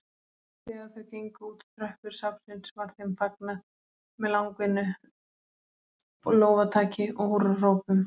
Þegar þau gengu útá tröppur safnsins var þeim fagnað með langvinnu lófataki og húrrahrópum.